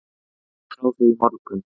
Ég gekk frá því í morgun.